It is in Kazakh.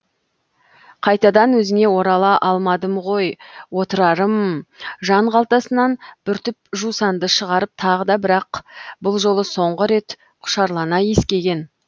қайтадан өзіңе орала алмадым ғой отырарым м жан қалтасынан бір түп жусанды шығарып тағы да бірақ бұл жолы соңғы рет құшарлана иіскеген